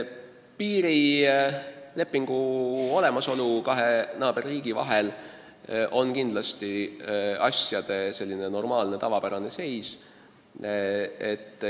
Piirilepingu olemasolu kahe naaberriigi vahel on kindlasti asjade normaalne seis.